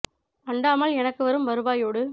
அண்டாமல் எனக்குவரும் வருவா யோடு